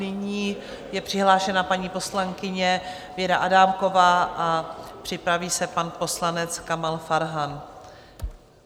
Nyní je přihlášena paní poslankyně Věra Adámková a připraví se pan poslanec Kamal Farhan.